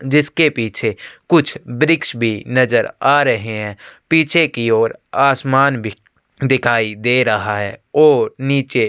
जिसके पीछे कुछ वृक्ष भी नज़र आ रहे है पिछे की और आसमान भी दिखाई दे रहा है और निचे--